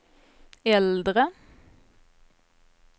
äldre